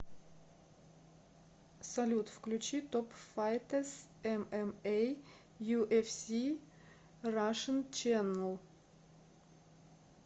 салют включи топ файтэз эм эм эй ю эф си рашн ченл